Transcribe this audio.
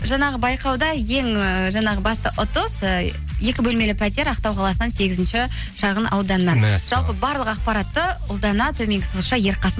жаңағы байқауда ең ыыы жаңағы басты ұтыс ы екі бөлмелі пәтер ақтау қаласынан сегізінші шағын ауданнан мәссаған жалпы барлық ақпаратты ұлдана төменгі сызықша ерқасын